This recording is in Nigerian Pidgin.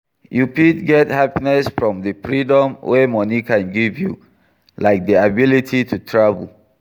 You fit get happiness from di freedom wey money can give you, like di ability to travel.